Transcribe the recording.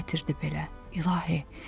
Bu nə ətirdir belə, İlahi?